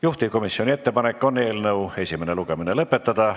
Juhtivkomisjoni ettepanek on eelnõu esimene lugemine lõpetada.